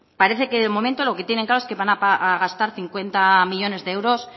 parece que de momento lo que tienen claro es que van a gastar cincuenta millónes de euros